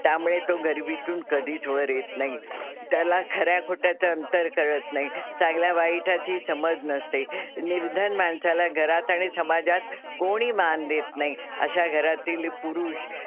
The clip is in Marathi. त्यामुळे तो गरिबीतून कधीच वर येत नाही. त्याला खऱ्या खोट्याचं अंतर कळत नाही. चांगल्या वाईटाची समज नसते. निर्धन माणसाला घरात आणि समाजात कोणी मान देत नाही. अशा घरातील पुरुष,